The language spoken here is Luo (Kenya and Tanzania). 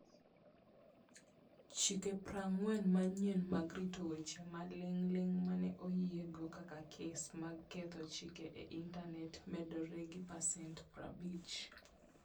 Chike 40 manyien mag rito weche maling'ling ' ma ne oyiego kaka kes mag ketho chik e Intanet medore gi pasent 50